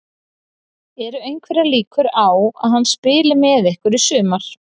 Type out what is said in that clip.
Eru einhverjar líkur á að hann spili með ykkur í sumar?